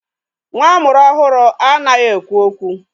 Nwa amụrụ ọhụrụ anaghị ekwu okwu.